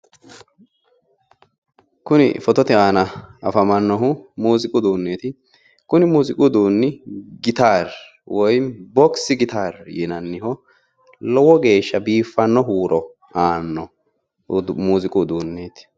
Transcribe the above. Kuni fotote aana afamannohu mooziiqu uduunni gitaari woy boksi gitaari yinaniho lowo geeshsha biiffanno huuro aanno muuziiqu uduunneeti.